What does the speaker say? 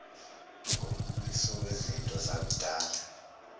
ngombukiso wezinto zokudlala